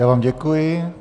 Já vám děkuji.